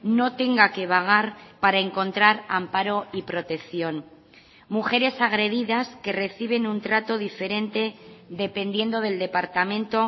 no tenga que vagar para encontrar amparo y protección mujeres agredidas que reciben un trato diferente dependiendo del departamento